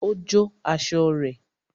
Ó jó aṣọ rẹ̀